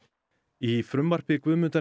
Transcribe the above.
í frumvarpi Guðmundar